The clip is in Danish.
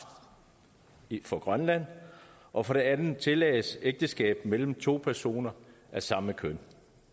for grønland og for det andet tillades ægteskab mellem to personer af samme køn